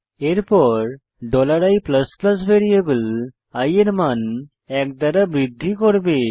এরপর i variable i এর মান এক দ্বারা বৃদ্ধি করবে